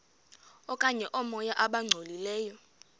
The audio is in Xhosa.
okanye oomoya abangcolileyo